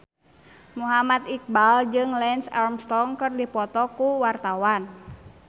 Muhammad Iqbal jeung Lance Armstrong keur dipoto ku wartawan